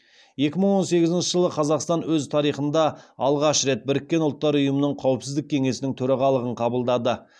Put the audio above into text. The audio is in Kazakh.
екі мың он сегізінші жылы қазақстан өз тарихында алғаш рет біріккен ұлттар ұйымының қауіпсіздік кеңесінің төрағалығын қабылдады